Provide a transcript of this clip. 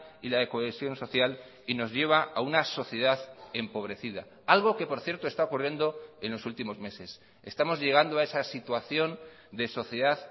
y la cohesión social y nos lleva a una sociedad empobrecida algo que por cierto está ocurriendo en los últimos meses estamos llegando a esa situación de sociedad